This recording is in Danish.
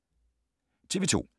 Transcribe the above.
TV 2